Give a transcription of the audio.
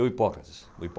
O Hipócrates. O Hipó.